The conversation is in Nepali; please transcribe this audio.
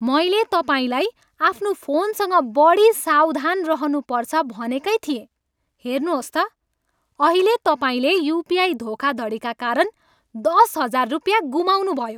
मैले तपाईँलाई आफ्नो फोनसँग बढी सावधान रहनुपर्छ भनेकै थिएँ। हेर्नुहोस् त, अहिले तपाईँले युपिआई धोखाधडीका कारण दस हजार रुपियाँ गुमाउनुभयो।